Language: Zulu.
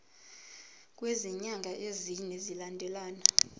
kwezinyanga ezine zilandelana